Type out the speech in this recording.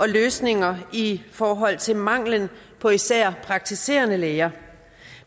løsninger i forhold til manglen på især praktiserende læger